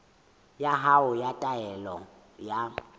ya hao ya taelo ya